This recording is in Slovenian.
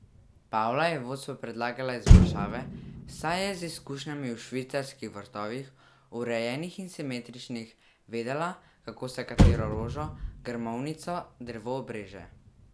Pavla je vodstvu predlagala izboljšave, saj je z izkušnjami v Švicarskih vrtovih, urejenih in simetričnih, vedela, kako se katero rožo, grmovnico, drevo obreže.